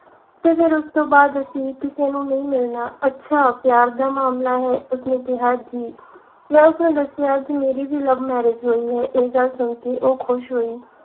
ਤੇ ਫਿਰ ਉਸ ਤੋਂ ਬਾਅਦ ਅਸੀਂ ਕਿਸੇ ਨੂੰ ਨਹੀਂ ਮਿਲਣਾ ਅੱਛਾ ਪਿਆਰ ਦਾ ਮਾਮਲਾ ਹੈ ਉਸਨੇ ਕਿਹਾ ਜੀ ਮੈਂ ਉਸਨੂੰ ਦੱਸਿਆ ਕਿ ਮੇਰੀ ਵੀ love marriage ਹੋਈ ਹੈ ਇਹ ਗੱਲ ਸੁਣ ਕੇ ਉਹ ਖੁਸ਼ ਹੋਈ